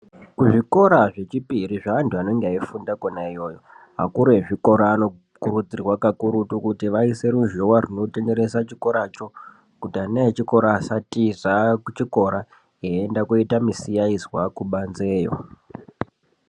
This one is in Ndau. Kuzvikora zvechipiri zveantu anenge eifunda kona iyoyo akuru ezvikora anokurudzirwa kakurutu kuti aise ruzhowa runotenderesa chikoracho kuti ana echikora asatiza eienda koite musiyaizwa kubanzeyo.